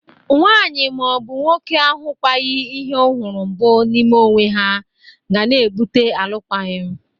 Nwaanyị ma ọ bụ nwoke ahụkwaghɨ ihe ọ hụrụ mbụ n'ime onwe ha ga na-ebụte alụkwaghị m.